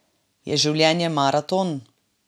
Je življenje maraton?